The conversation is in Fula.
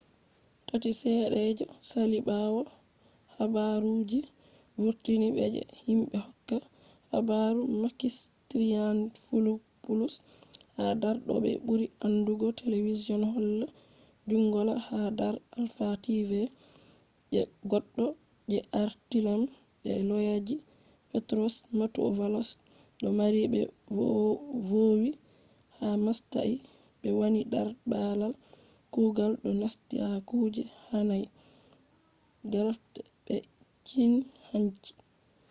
sati sedda je sali bawo habaru je be vurtini be je himbe hokkata habaru makis triantafylopoulos ha dark oh be buri andugo television holla ‘’zoungla’’ ha dar alpha tv je goddo je arliament be loyaji petros mantouvalos do mari be vowi ha mastayi be wani dar babal kugal do nasti ha kuje hanai graft be cin hanci